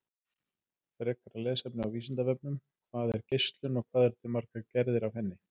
Frekara lesefni á Vísindavefnum: Hvað er geislun og hvað eru til margar gerðir af henni?